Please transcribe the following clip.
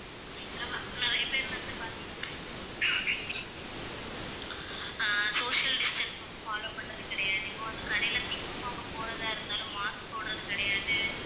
எங்க ma'am நிறைய பேர் வந்து பார்த்தீங்கன்னா ஆஹ் social distance வந்து follow பண்றது கிடையாது. இப்ப வந்து கடையில things வாங்க போறதா இருந்தாலும் mask போடுறது கிடையாது.